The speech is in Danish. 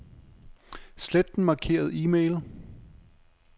Slet den markerede e-mail.